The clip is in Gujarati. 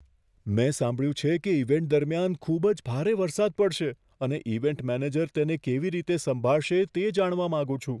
મેં સાંભળ્યું છે કે ઇવેન્ટ દરમિયાન ખૂબ જ ભારે વરસાદ પડશે અને ઇવેન્ટ મેનેજર તેને કેવી રીતે સંભાળશે, તે જાણવા માંગુ છું.